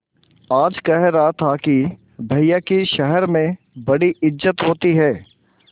आज कह रहा था कि भैया की शहर में बड़ी इज्जत होती हैं